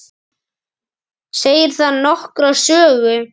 Segir það nokkra sögu.